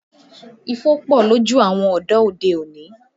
Ifo pọ lójú àwọn ọ̀dọ́ òde-òní